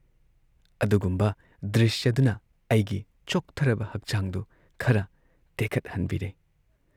ꯑꯗꯨꯒꯨꯝꯕ ꯗ꯭ꯔꯤꯁ꯭ꯌꯗꯨꯅ ꯑꯩꯒꯤ ꯆꯣꯛꯊꯔꯕ ꯍꯛꯆꯥꯡꯗꯨ ꯈꯔ ꯇꯦꯈꯠꯍꯟꯕꯤꯔꯦ ꯫